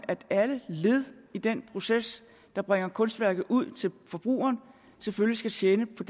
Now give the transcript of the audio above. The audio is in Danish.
at alle led i den proces der bringer kunstværket ud til forbrugeren selvfølgelig skal tjene på